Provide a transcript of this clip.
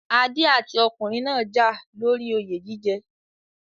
Adé àti ọkùnrin náà jà lóri oyè jíjẹ